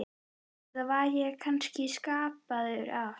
Eða var ég kannski skapaður af